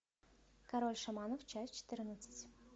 король шаманов часть четырнадцать